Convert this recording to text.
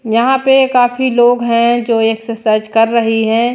यहां पे काफी लोग हैं जो एक्सरसाइज कर रही हैं।